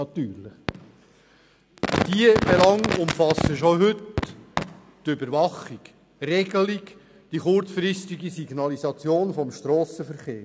Diese Belange umfassen schon heute die Überwachung, die Regelung und die kurzfristige Signalisation des Strassenverkehrs.